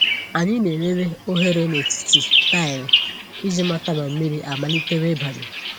Ànyị na-elele oghere n’etiti taịlị iji mata ma mmiri amalitewo ịbanye.